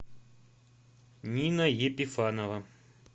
нина епифанова